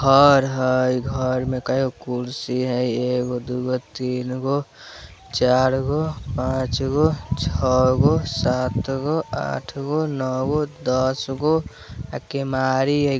घर हेय घर में कएगो कुर्सी हेय एगो दुगो तीनगो चारगो पाँचगो छ गो सातगो आठगो नोगो दसगो ए केमारी हेय ।